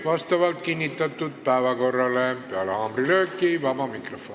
Vastavalt kinnitatud päevakorrale on peale haamrilööki vaba mikrofon.